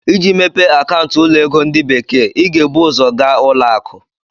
Iji mepee akaụntụ ụlọ ego ndi bekee, ị ga-ebu ụzọ gaa ụlọ akụ.